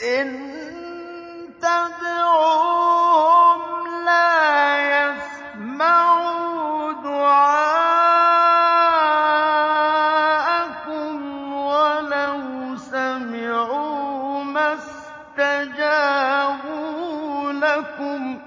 إِن تَدْعُوهُمْ لَا يَسْمَعُوا دُعَاءَكُمْ وَلَوْ سَمِعُوا مَا اسْتَجَابُوا